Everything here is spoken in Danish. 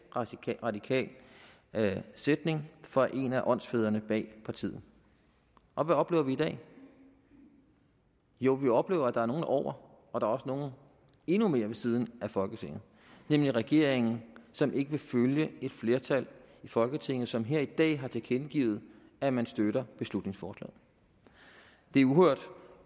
radikal sætning fra en af åndsfædrene bag partiet og hvad oplever vi i dag jo vi oplever at der er nogle over og også nogle endnu mere ved siden af folketinget nemlig regeringen som ikke vil følge et flertal i folketinget som her i dag har tilkendegivet at man støtter beslutningsforslaget det er uhørt